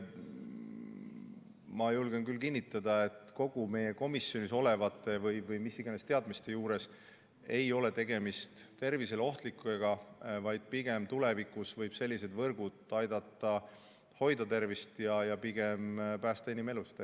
Ma julgen küll kinnitada, et meie komisjoni teadmiste kohaselt ei ole tegemist tervisele ohtliku, vaid pigem tulevikus võivad sellised võrgud aidata hoida tervist ja päästa inimelusid.